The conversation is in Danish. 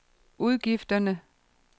udgifterne